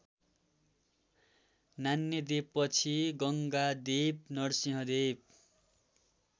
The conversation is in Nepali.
नान्यदेवपछि गङ्गादेव नरसिंहदेव